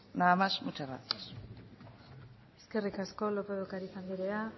nada más y muchas gracias eskerrik asko lópez de ocariz andrea